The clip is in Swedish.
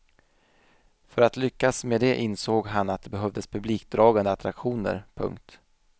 För att lyckas med det insåg han att det behövdes publikdragande attraktioner. punkt